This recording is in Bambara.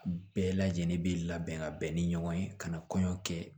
Bɛɛ lajɛlen bɛ labɛn ka bɛn ni ɲɔgɔn ye ka na kɔɲɔ kɛ